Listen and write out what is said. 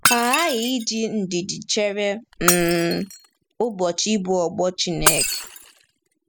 Ha aghaghị iji ndidi chere um ụbọchị ịbọ ọ́bọ̀ Chineke.